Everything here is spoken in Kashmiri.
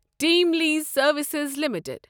team Lease Services limited